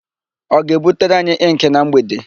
Ọ ga-ebutere anyị ịnkị na mgbede?